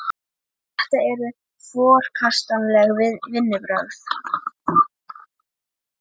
Þetta eru forkastanleg vinnubrögð